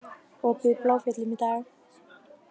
Opið í Bláfjöllum í dag